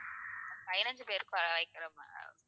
பதினஞ்சு பேருக்கு